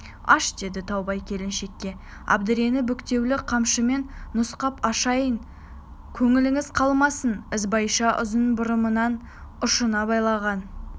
аш деді таубай келіншекке әбдірені бүктеулі қамшымен нұсқап ашайын көңіліңіз қалмасын ізбайша ұзын бұрымының ұшына байланған